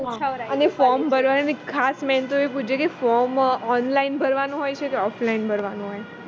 પુછાવરાવી લવ અને form ભરવાની ખાસ main તો એ પૂછ જે કે form online ભરવાનું હોઈ છે કે offline ભરવાનું હોય